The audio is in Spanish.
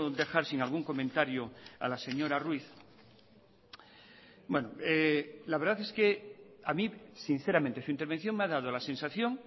dejar sin algún comentario a la señora ruiz la verdad es que a mí sinceramente su intervención me ha dado la sensación